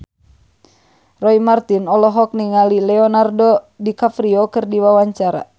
Roy Marten olohok ningali Leonardo DiCaprio keur diwawancara